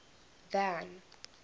van